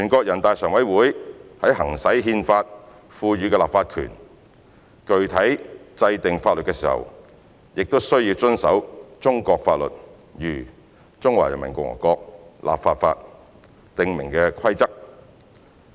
人大常委會在行使《憲法》賦予的立法權，具體制定法律時，亦須遵守中國法律如《中華人民共和國立法法》訂明的規則。